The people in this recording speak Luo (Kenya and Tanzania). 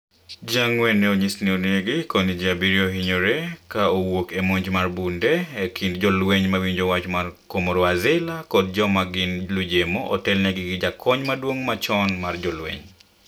ji ang'wen ne onyis ni onegi koni ji abirio ohinyore ka owuok e monj ma bunde e kind jolweny ma winjo wach ker ma Comoro Azila kod Jo ma gin lujemo otel ni gi gi jakony maduong' machon mar jolweny